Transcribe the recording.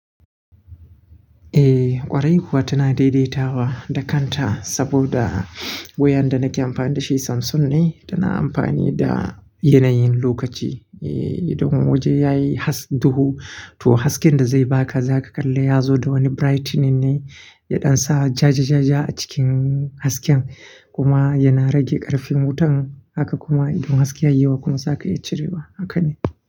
Eh ƙwarai kuwa tana daidaitawa da kanta saboda wayan da na ke amfani da shi Samsung ne, tana amfani da yanayin lokaci. Eh idan waje yayi has duhu to hasken da zai baka zaka kalla ya zo da wani brightening ne yaɗan sa ja-ja-ja-ja a cikin hasken kuma yana rage ƙarfin wutan haka kuma idan haske ya yi yawa kuma zaka iya cirewa haka ne.